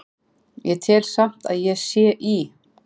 Ég tel samt að ég sé í